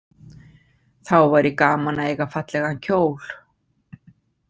Þá væri gaman að eiga fallegan kjól.